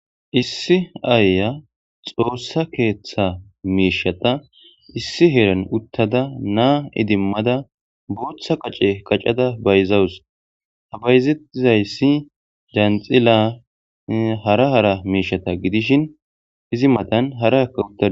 issi aaya xoossa keeththa miishata issi heeran uttada naa idimmada booththa qace qacada bayzawus ha bayzettizayssi janxila hara hara miishata gidishin izi matan hara akka utta